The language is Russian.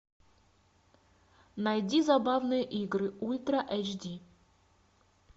найди забавные игры ультра эйч ди